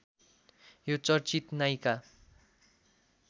यो चर्चित नायिका